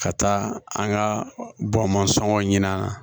Ka taa an ka bɔ masɔngɔ ɲini an na